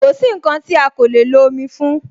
Kosi nkan ti a ko le lo omi fún